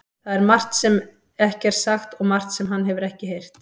Það er margt sem ekki er sagt og margt sem hann hefur ekki heyrt.